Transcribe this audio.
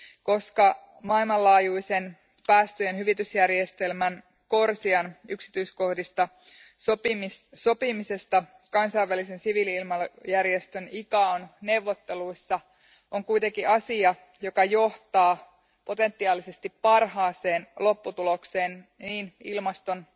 Koska maailmanlaajuisen päästöjen hyvitysjärjestelmän CORSIAn yksityiskohdista sopimisesta kansainvälisen siviili ilmailujärjestön ICAOn neuvotteluissa on kuitenkin asia, joka johtaa potentiaalisesti parhaaseen lopputulokseen niin ilmaston,